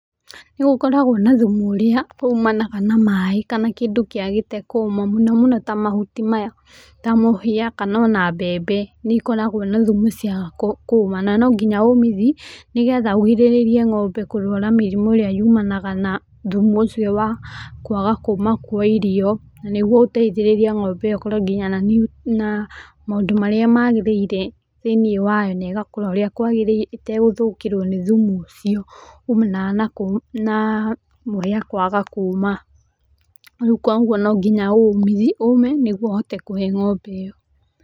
Nĩgũkoragwo na thumu ũrĩa umanaga na maaĩ kana kĩndũ kĩagĩte kũma mũno mũno ta mahuti maya ta mũhĩa kana ona mbembe. Nĩikoragwo na thumu ciaga kũma na no nginya ũmithie nĩgetha ũgirĩrĩrie ng'ombe kũrwara mĩrimũ ĩrĩa yumanaga na thumu ũcio wa kwaga kũma kwa irio. Nĩguo ũteithĩrĩrie ng'ombe ĩyo na maũndũ marĩa magĩrĩire thĩinĩ wayo na ĩgakũra ũrĩa kwagĩrĩire ĩtegũthũkĩrwo nĩ thumu ũcio umanaga na mũhĩa kwaga kũma. Rĩu koguo no nginya ũũme nĩguo ũhote kũhe ng'ombe ĩyo.